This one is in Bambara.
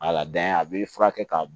a b'i furakɛ ka